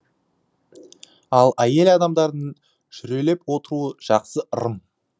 ал әйел адамдардың жүрелеп отыруы жақсы ырым